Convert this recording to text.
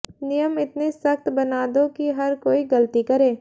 नियम इतने सख्त बना दो कि हर कोई गलती करे